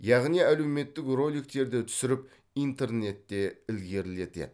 яғни әлеуметтік роликтерді түсіріп интернетте ілгерілетеді